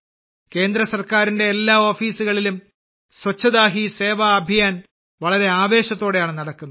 കേന്ദ്ര ഗവൺമെൻ്റിന്റെ എല്ലാ ഓഫീസുകളിലും സ്വച്ഛതാ ഹി സേവാ അഭിയാൻ വളരെ ആവേശത്തോടെയാണ് നടക്കുന്നത്